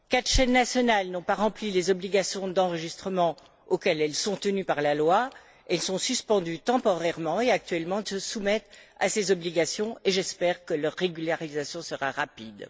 Quatre chaînes nationales n'ont pas rempli les obligations d'enregistrement auxquelles elles sont tenues par la loi. Elles sont suspendues temporairement et, actuellement, se soumettent à ces obligations, et j'espère que leur régularisation sera rapide.